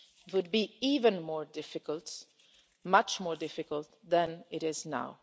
would be even more difficult, much more difficult than it is now.